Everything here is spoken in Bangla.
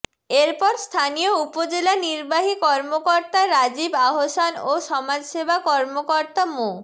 এর পর স্থানীয় উপজেলা নির্বাহী কর্মকর্তা রাজিব আহসান ও সমাজসেবা কর্মকর্তা মো